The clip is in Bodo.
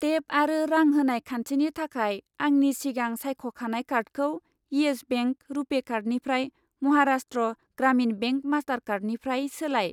टेप आरो रां होनाय खान्थिनि थाखाय आंनि सिगां सायख'खानाय कार्डखौ इयेस बेंक रुपे कार्डनिफ्राय महाराष्ट्र ग्रामिन बेंक मास्टारकार्डनिफ्राय सोलाय।